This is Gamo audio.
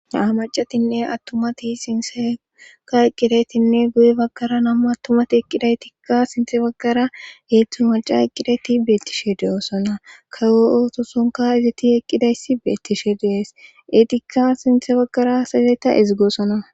amacatinne attumati sinseeka eqqidaytinne guye baggara nammu attumati eqqidaytikka sinthe baggara eetthu maca eqqidayti beettishe deyoosona kawo ootosonka izati eqqidayssi beettishe dees etikka sinthe baggara sayzeyeta ezigoosona